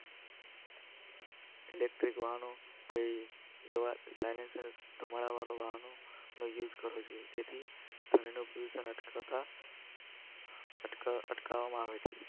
Electric વાહનો કઈ તમારા વાળનો યૂઝ કરો છે જેથી ટ્યુશન અટકાતા અટકાવવામાં આવે છે.